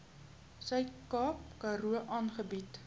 suidkaap karoo aangebied